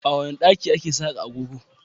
A wane daki ake saka agogo?